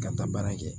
Ka taa baara kɛ